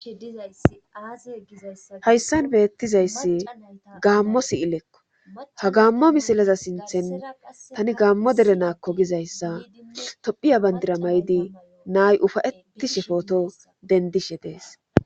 dizayaz izahayssan beettizayssi gaammo siyilekko ha gaammo misileza sinthen tani gaammo dere naakko gizayssa tophiya bandira may7di naay ufayetti she footo dendishe dees